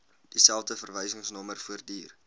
dieselfde verwysingsnommer voortduur